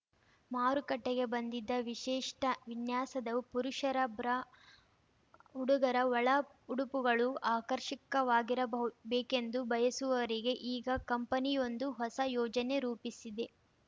ಮಾರುಕಟ್ಟೆಗೆ ಬಂದಿದೆ ವಿಶಿಷ್ಟವಿನ್ಯಾಸದ ಪುರುಷರ ಬ್ರಾ ಹುಡುಗರ ಒಳ ಉಡುಪುಗಳೂ ಆಕರ್ಷಕವಾಗಿರಬಹ್ ಬೇಕೆಂದು ಬಯಸುವವರಿಗೆ ಈಗ ಕಂಪೆನಿಯೊಂದು ಹೊಸ ಯೋಜನೆ ರೂಪಿಸಿದೆ